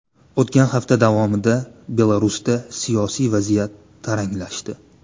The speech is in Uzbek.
O‘tgan hafta davomida Belarusda siyosiy vaziyat taranglashdi.